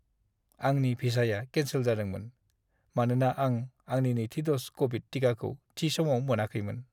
आंनि भिसाया केन्सेल जादोंमोन, मानोना आं आंनि नैथि द'ज क'विड टिकाखौ थि समाव मोनाखैमोन।